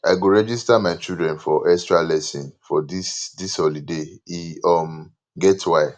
i go register my children for extralesson for dis dis holiday e um get why